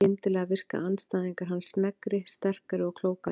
Skyndilega virka andstæðingar hans sneggri, sterkari og klókari.